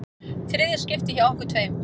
Þriðja skiptið hjá okkur tveim.